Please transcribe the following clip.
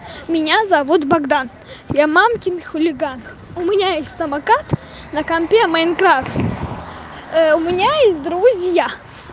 меня зовут богдан я мамкин хулиган у меня есть самокат на компе майнкрафт у меня есть друзья